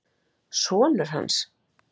Sonur hans!